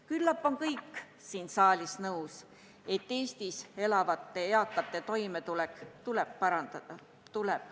Küllap on kõik siin saalis nõus, et Eestis elavate eakate toimetulekut tuleb parandada.